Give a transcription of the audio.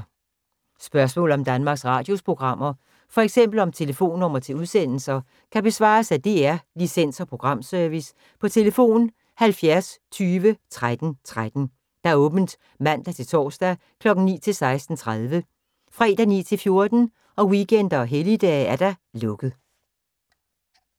Spørgsmål om Danmarks Radios programmer, f.eks. om telefonnumre til udsendelser, kan besvares af DR Licens- og Programservice: tlf. 70 20 13 13, åbent mandag-torsdag 9.00-16.30, fredag 9.00-14.00, weekender og helligdage: lukket.